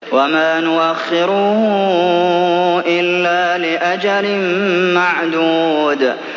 وَمَا نُؤَخِّرُهُ إِلَّا لِأَجَلٍ مَّعْدُودٍ